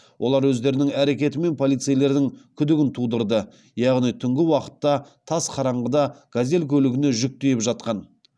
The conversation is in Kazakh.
олар өздерінің әрекетімен полицейлердің күдігін тудырды яғни түнгі уақытта тас қараңғыда газель көлігіне жүк тиеп жатқан